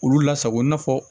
Olu lasago i n'a fɔ